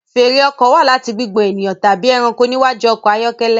Fèèrè ọkọ̀ wá láti gbigbọn ènìyàn tàbí ẹranko níwájú ọkọ ayọkẹlẹ